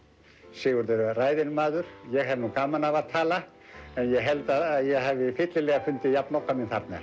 Sigurjón var ræðinn maður ég hef nú gaman af að tala en ég held að ég hafi fyllilega fundið jafnoka minn þarna